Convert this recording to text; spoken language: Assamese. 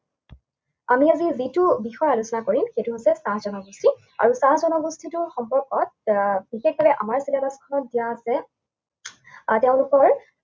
আমি আজি যিটো বিষয়ে আলোচনা কৰিম, সেইটো হৈছে চাহ জনগোষ্ঠী। আৰু চাহ জনগোষ্ঠীটোৰ সম্পৰ্কত আহ বিশেষকে আমাৰ syllabus খনত দিয়া আছে, আহ তেওঁলোকৰ